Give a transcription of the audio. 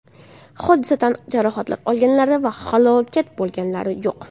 Hodisa tan jarohati olganlar va halok bo‘lganlar yo‘q.